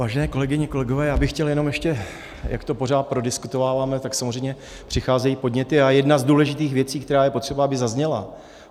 Vážené kolegyně, kolegové, já bych chtěl jenom ještě, jak to pořád prodiskutováváme, tak samozřejmě přicházejí podněty a jedna z důležitých věcí, která je potřeba, aby zazněla.